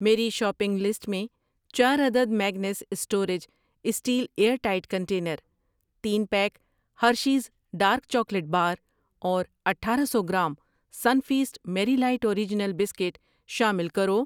میری shopping list میں چارعدد Magnus storage steel airtight container, تین pack Hershey's dark chocolate bar اور اٹھارہ سو gram Sunfeast Marie light original biscuit شامل کرو۔